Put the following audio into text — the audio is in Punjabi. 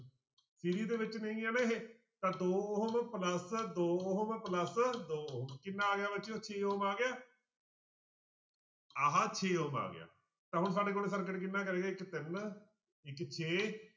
ਦੇ ਵਿੱਚ ਨਹੀਂ ਆਂ ਨਾ ਇਹ ਤਾਂ ਦੋ ਉਹ plus ਦੋ ਉਹ ਵਾ plus ਦੋ ਉਹ ਕਿੰਨਾ ਆ ਗਿਆ ਬੱਚਿਓ ਛੇ ਆ ਗਿਆ ਆਹ ਛੇ ਆ ਗਿਆ ਤਾਂ ਹੁਣ ਸਾਡੇ ਕੋਲ circuit ਕਿੰਨਾ ਤਿੰਨ ਇੱਕ ਛੇ